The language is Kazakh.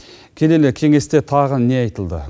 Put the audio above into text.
келелі кеңесте тағы не айтылды